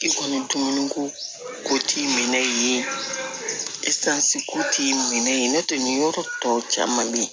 I kɔni dumuni ko ko t'i minɛ yen ko t'i minɛ n'o tɛ nin yɔrɔ tɔ caman bɛ yen